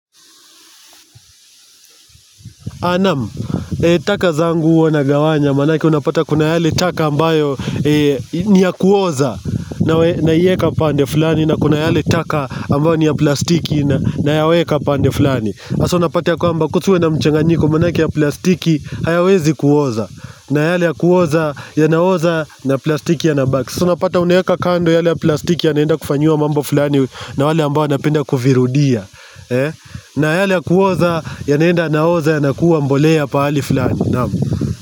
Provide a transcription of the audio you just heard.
Nam, taka zangu huwa nagawanya manake unapata kuna yale taka ambayo ni ya kuoza naieka pande fulani na kuna yale taka ambayo ni ya plastiki na ya weka pande fulani hasa unapata ya kwamba kusiwe na mchanganyiko manaki ya plastiki hayawezi kuoza na yale ya kuoza ya naoza na plastiki yanabaki hasa unapata unaeka kando yale ya plastiki ya naenda kufanyiwa mambo fulani na wale ambayo napenda kuvirudia na yale kuoza yanaenda yanaoza yanakuwa mbolea pali fulani.